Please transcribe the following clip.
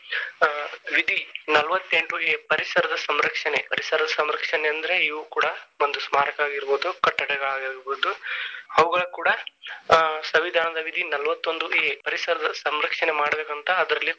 ವಿಧಿ ನಲವತ್ತೆಂಟು A ಪರಿಸರದ ಸಂರಕ್ಷಣೆ ಪರಿಸರ ಸಂರಕ್ಷಣೆ ಅಂದ್ರೆ ಇವು ಕೂಡಾ ಒಂದು ಸ್ಮಾರಕ ಆಗಿರಬಹುದು ಕಟ್ಟಡಗಳಾಗಿರಬಹುದು ಅವುಗಳು ಕೂಡಾ ಆ ಸಂವಿಧಾನದ ವಿಧಿ ನಲವತ್ತೊಂದು A ಪರಿಸರದ ಸಂರಕ್ಷಣೆ ಮಾಡಬೇಕಂತಾ ಅದ್ರಲ್ಲಿ.